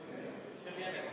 Proteste ei ole.